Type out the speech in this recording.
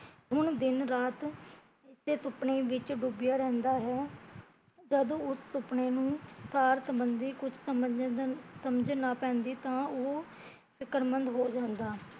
ਹੁਣ ਦਿਨ ਰਾਤ ਇਸੇ ਸੁਪਨੇ ਵਿੱਚ ਡੁੱਬੀਆ ਰਹਿੰਦਾ ਹੈ ਜਦੋਂ ਉਹ ਸੁਪਨੇ ਨੂ ਕੁਸ਼ ਸਮਜ ਨਾ ਪੈਂਦੀ ਤਾਂ ਉਹ ਫਿਕਰਮੰਦ ਹੋ ਜਾਂਦਾ